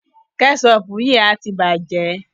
Kẹ́ṣọpù yìí a ti bàjẹ́.